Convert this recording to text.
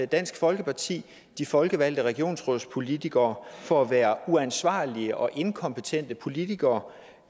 dansk folkeparti de folkevalgte regionsrådspolitikere for at være uansvarlige og inkompetente politikere